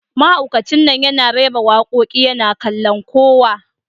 Mahaukacin nan yana rera wakoki yana kallon kowa